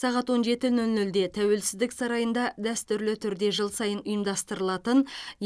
сағат он жеті нөл нөлде тәуелсіздік сарайында дәстүрлі түрде жыл сайын ұйымдастырылатын